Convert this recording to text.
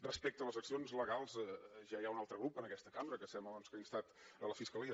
respecte a les accions legals ja hi ha un altre grup en aquesta cambra que sembla doncs que ha instat la fiscalia